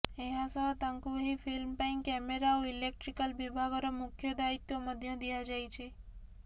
ଏହାସହ ତାଙ୍କୁ ଏହି ଫିଲ୍ମ ପାଇଁ କ୍ୟାମେରା ଓ ଇଲେକ୍ଟ୍ରିକାଲ ବିଭାଗର ମୁଖ୍ୟ ଦାୟିତ୍ୱ ମଧ୍ୟ ଦିଆଯାଇଛି